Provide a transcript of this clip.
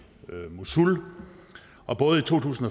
mosul og både i to tusind